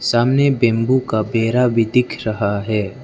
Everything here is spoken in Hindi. सामने बैंबू का पेरा भी दिख रहा है।